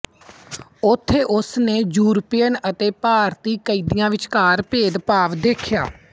ਉੱਥੇ ਉਸ ਨੇ ਯੂਰਪੀਅਨ ਅਤੇ ਭਾਰਤੀ ਕੈਦੀਆਂ ਵਿਚਕਾਰ ਭੇਦਭਾਵ ਦੇਖਿਆ